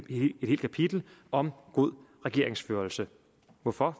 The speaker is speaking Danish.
helt kapitel om god regeringsførelse hvorfor